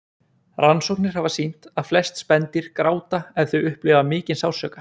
Rannsóknir hafa sýnt að flest spendýr gráta ef þau upplifa mikinn sársauka.